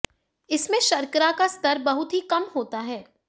इसमें शर्करा का स्तर बहुत ही कम होता है